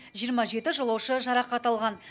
жиырма жеті жолаушы жарақат алған